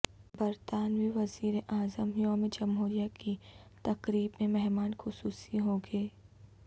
برطانوی وزیر اعظم یوم جمہوریہ کی تقریب میں مہمان خصوصی ہوں گے